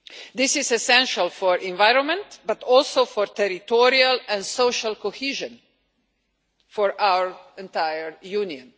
This is essential for the environment but also for territorial and social cohesion for our entire Union.